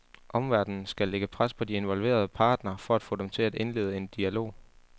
Omverdenen skal lægge pres på de involverede partnere for at få dem til at indlede en dialog.